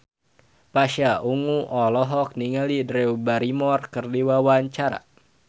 Pasha Ungu olohok ningali Drew Barrymore keur diwawancara